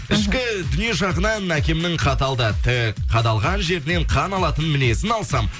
ішкі дүние жағынан әкемнің қатал да тік қадалған жерінен қан алатын мінезін алсам